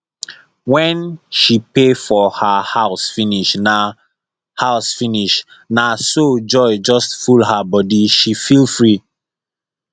when she pay for her house finish na house finish na so joy just full her bodyshe feel free